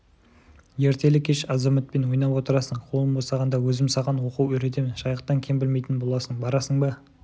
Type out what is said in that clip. ертелі-кеш азаматпен ойнап отырасың қолым босағанда өзім саған оқу үйретемін жайықтан кем білмейтін боласың барасың ба